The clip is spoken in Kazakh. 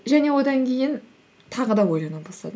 және одан кейін тағы да ойлана бастадым